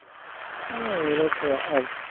হ্যাঁ ওরা তো আ~ আর কি